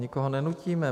Nikoho nenutíme.